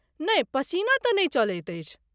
नहि, पसीना तँ नहि चलैत अछि।